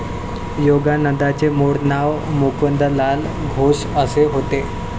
योगानंदांचे मुळ नाव मुकुंदलाल घोष असे होते.